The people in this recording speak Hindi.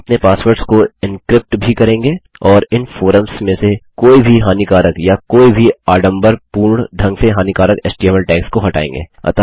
हम अपने पासवर्ड्स को एन्क्रिप्ट भी करेंगे और इन फोरम्स में से कोई भी हानिकारक या कोई भी आडंबरपूर्ण ढंग से हानिकारक एचटीएमएल टैग्स को हटाएँगे